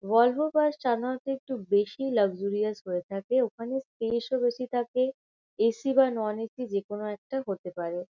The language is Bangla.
ভলভো বাস সাধারণত একটু বেশিই লাক্সারিয়াস হয়ে থাকে। ওখানে স্পেস -ও বেশী থাকে। এ.সি. বা নন এ.সি. যেকোনো একটা হতে পারে।